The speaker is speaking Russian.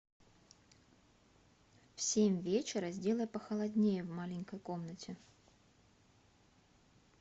в семь вечера сделай похолоднее в маленькой комнате